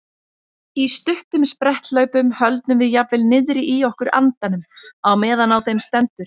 Í stuttum spretthlaupum höldum við jafnvel niðri í okkur andanum á meðan á þeim stendur.